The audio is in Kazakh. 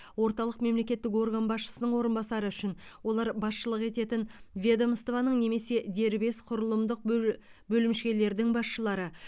орталық мемлекеттік орган басшысының орынбасары үшін олар басшылық ететін ведомствоның немесе дербес құрылымдық бөлімшелердің басшылары